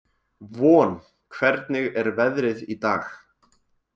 Von, hvernig er veðrið í dag?